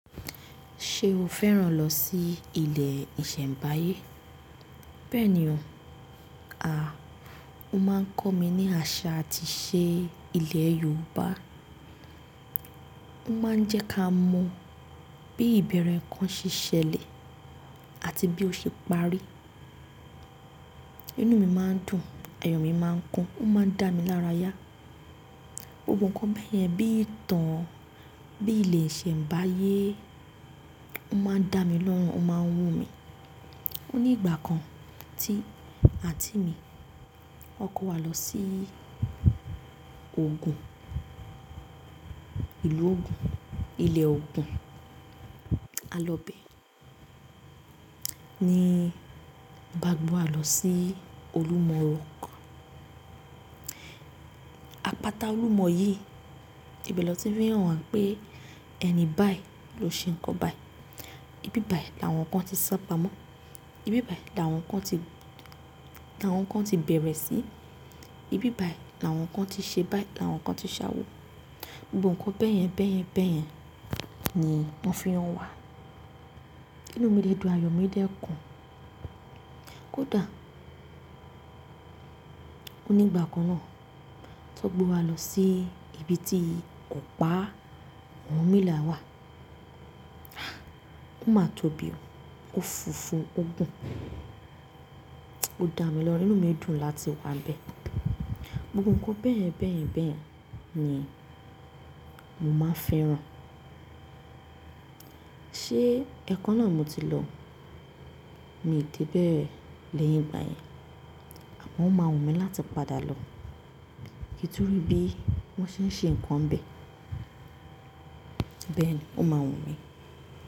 Ṣé o fẹ́ràn lọ sí ilẹ̀ ìṣẹ̀mbáyé? Bẹ́ẹ̀ni o. Àa! Ó máa ń kọ́ mi ní àṣà àti ìṣe ilẹ̀ Yorùbá. Ó máa ń jẹ́ ká mọ bí ìbẹ̀rẹ̀ nǹkan ṣe ṣẹlẹ̀ àti bí ó ṣe parí. Inú mi máa ń dùn, ayọ̀ mi máa ń kún, ó máa ń dá mi lára yá. Gbogbo nǹkan bẹ́ẹ̀ yẹn bí ìtàn, bí ilẹ̀ ìṣẹ̀mbáyé ó máa ń dá mi lọ́rùn, ó máa ń wú mi. Ó ní ìgbà kan tí àǹtí mi wọ́n kó wa lọ sí Ògùn, ìlú Ògùn, ilẹ̀ Ògùn. A lọ bẹ̀ ní Bágu wá lọ sí Olúmọ rock. Àpáta Olúmọ yìí ibẹ̀ l'ọ́n tí fí hàn wá pé ẹni báì ló ṣe nǹkan báì. Ibí bàí làwọn kan tí sápamọ́, ibí báì làwọn kan tí, làwọn kan tí bẹ̀rẹ̀ sí, ibí báì làwọn kan tí ṣe báì, làwọn kan tí ṣawo. Gbogbo nǹkan bẹ́ẹ̀yẹn bẹ́ẹ̀yẹn bẹ́ẹ̀yẹn ni wọ́n fi hàn wá. Inú mi dẹ̀ dùn, ayọ̀ mi dẹ̀ kún. Kódà! Ó ní ìgbà kan náà t'ọ́n gbé wa lọ sí ibi tí ọ̀pá Ọ̀rúnmìlà wà. Ah! Ó máa tóbi o, ó funfun, ó gùn. Ó dá mi lọ́rùn, inú mi dùn láti wà ń bẹ̀. Gbogbo nǹkan bẹ́ẹ̀yẹn bẹ́ẹ̀yẹn bẹ́ẹ̀yẹn ni mo máa ń fẹ́ràn. Ṣé ẹ̀ẹ̀kàn náà mo ti lọ, mi ò dé bẹ́ẹ̀ lẹ́yìn ìgbà yẹn. Àmọ́ ó máa wù mí láti padà lọ kí n tún rí bí wọ́n ṣé ń ṣe nǹkan ń bē. Bẹ́ẹ̀ ni, ó máa wù mí.